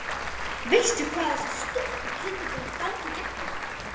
Veistu hvað þessi stúlkukind er búin að ganga í gegnum?